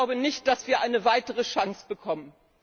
Ich glaube nicht, dass wir eine weitere Chance bekommen!